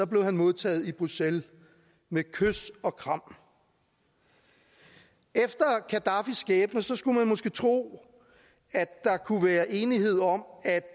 blev han modtaget i bruxelles med kys og kram efter gaddafis skæbne skulle man måske tro at der kunne være enighed om at